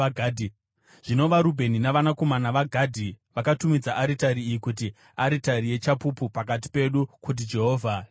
Zvino vaRubheni navanakomana vaGadhi vakatumidza aritari iyi kuti: Aritari yeChapupu Pakati Pedu kuti Jehovha ndiye Mwari.